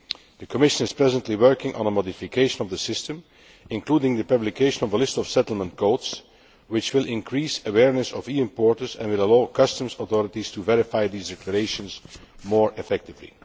The Commission is presently working on a modification of the system, including the publication of a list of settlement codes, which will increase awareness of EU importers and will allow customs authorities to verify these declarations more effectively.